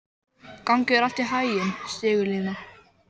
Gangi þér allt í haginn, Sigurlína.